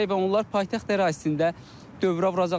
və onlar paytaxt ərazisində dövrə vuracaqlar.